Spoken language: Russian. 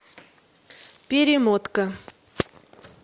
перемотка